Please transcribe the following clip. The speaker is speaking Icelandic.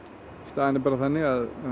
staðan er bara þannig að